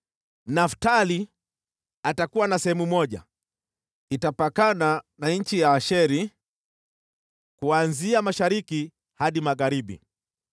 “Naftali atakuwa na sehemu moja, itapakana na nchi ya Asheri kuanzia mashariki hadi magharibi.